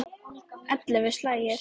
Ellefu slagir.